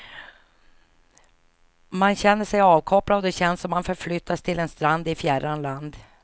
Man känner sig avkopplad och det känns som man förflyttats till en strand i fjärran land.